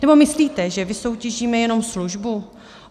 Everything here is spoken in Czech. Nebo myslíte, že vysoutěžíme jenom službu?